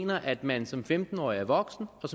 mener at man som femten årig er voksen og